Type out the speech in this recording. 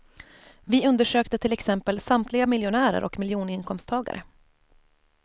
Vi undersökte till exempel samtliga miljonärer och miljoninkomsttagare.